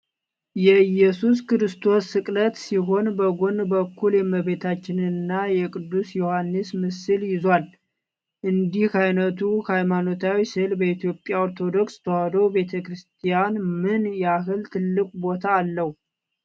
የኢየሱስ ክርስቶስን ስቅለት ሲሆን፣ በጎን በኩል የእመቤታችንንና የቅዱስ ዮሐንስን ምስል ይዟል። እንዲህ ዓይነቱ ሃይማኖታዊ ሥዕል በኢትዮጵያ ኦርቶዶክስ ተዋሕዶ ቤተ ክርስቲያን ምን ያህል ትልቅ ቦታ አለው?